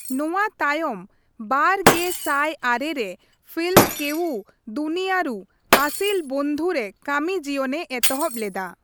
ᱱᱚᱣᱟ ᱛᱟᱭᱚᱢ ᱵᱟᱨ ᱜᱮ ᱥᱟᱭ ᱟᱨᱮ ᱨᱮ ᱯᱷᱤᱞᱢ ᱠᱮᱣᱩ ᱫᱩᱱᱤᱭᱟᱨᱩ ᱟᱥᱤᱞᱚ ᱵᱚᱱᱫᱷᱩ ᱨᱮ ᱠᱟᱹᱢᱤ ᱡᱤᱭᱚᱱᱮ ᱮᱛᱚᱦᱚᱵ ᱞᱮᱫᱟ।